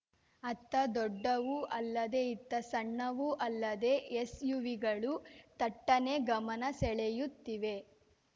ಅತ್ತ ದೊಡ್ಡವೂ ಅಲ್ಲದೆ ಇತ್ತ ಸಣ್ಣವೂ ಅಲ್ಲದೆ ಎಸ್‌ಯುವಿಗಳು ತಟ್ಟನೆ ಗಮನ ಸೆಳೆಯುತ್ತಿವೆ